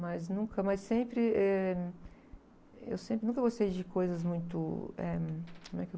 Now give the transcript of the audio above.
Mas nunca, mas sempre, eh, eu sempre, nunca gostei de coisas muito, eh, como é que eu...